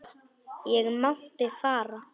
Ég mátti fara.